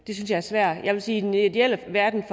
svært jeg vil sige at i den ideelle verden